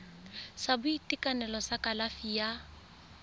sa boitekanelo sa kalafi ya